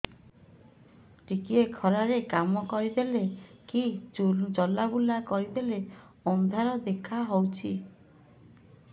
ଟିକେ ଖରା ରେ କାମ କରିଦେଲେ କି ଚଲବୁଲା କରିଦେଲେ ଅନ୍ଧାର ଦେଖା ହଉଚି